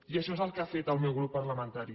i això és el que ha fet el meu grup parlamentari